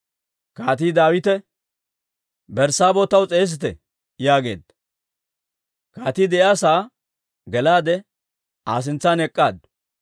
Kaatii Daawite, «Berssaabeeho taw s'eesite» yaageedda; kaatii de'iyaa sa'aa gelaade Aa sintsan ek'k'aaddu.